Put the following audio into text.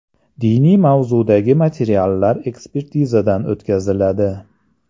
Diniy mazmundagi materiallar ekspertizadan o‘tkaziladi.